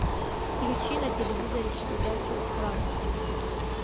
включи на телевизоре передачу пранк